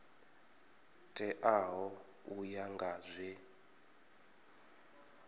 teaho u ya nga zwe